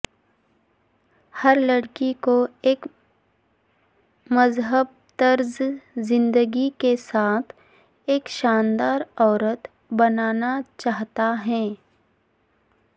ہر لڑکی کو ایک مہذب طرز زندگی کے ساتھ ایک شاندار عورت بننا چاہتا ہے